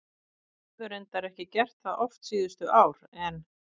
Þau höfðu reyndar ekki gert það oft síðustu ár en